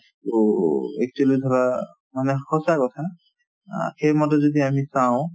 to actually ধৰা মানে সঁচা কথা অ সেই মতে যদি আমি চাওঁ